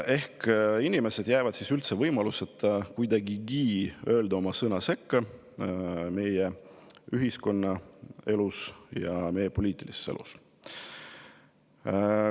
Ehk need inimesed jäävad üldse võimaluseta öelda kuidagigi sõna sekka meie ühiskonna elus ja Eesti poliitilises elus.